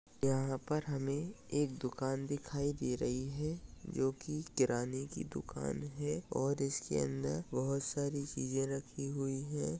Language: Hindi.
यहाँ पर हमें एक दुकान दिखाई दे रही है। जो की किराने की दुकान है। और उसके अंदर बहुत सारी चीज रखी हुई है।